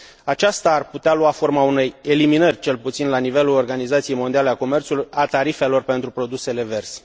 Aceasta ar putea lua forma unei eliminări, cel puțin al nivelul organizației mondiale a comerțului, a tarifelor pentru produsele verzi.